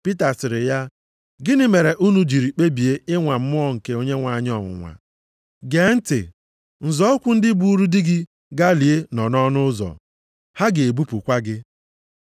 Pita sịrị ya, “Gịnị mere unu jiri kpebie ịnwa Mmụọ nke Onyenwe anyị ọnwụnwa? Gee ntị, nzọ ụkwụ ndị buuru di gị gaa lie nọ nʼọnụ ụzọ. Ha ga-ebupụkwa gị.”